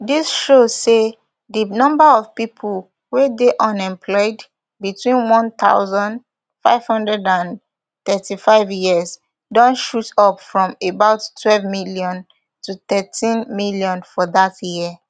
dis show say di number of pipo wey dey unemployed between one thousand, five hundred and thirty-five years don shoot up from about twelve million to thirteenmillion for dat year